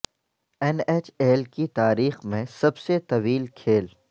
N H L کی تاریخ میں سب سے طویل کھیل